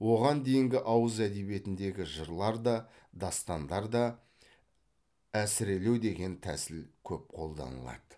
оған дейінгі ауыз әдебиетіндегі жырларда дастандарда әсірелеу деген тәсіл көп қолданылады